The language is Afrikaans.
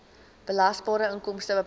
belasbare inkomste bepaal